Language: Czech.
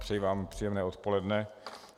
Přeji vám příjemné odpoledne.